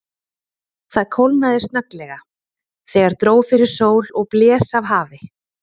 Það kólnaði snögglega, þegar dró fyrir sól og blés af hafi.